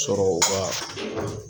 Sɔrɔ u ka